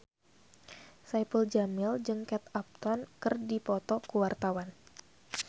Saipul Jamil jeung Kate Upton keur dipoto ku wartawan